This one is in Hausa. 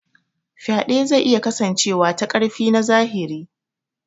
Faɗe zai iya kasancewa ta ƙarfi na zahiri.